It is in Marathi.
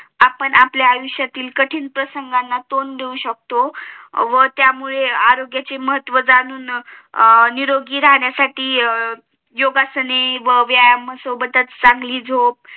आपण आपल्या आयुष्यातील कठीण प्रसंगाना तोंड देऊ शकतो म्हणून त्यामुळे आरोग्य चे महत्व जाणून आह निरोगी राहण्या साठी योगासने व व्यायामासोबतच चांगली झोप